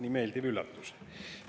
Nii meeldiv üllatus.